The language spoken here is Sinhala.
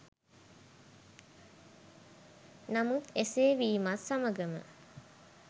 නමුත් එසේ වීමත් සමගම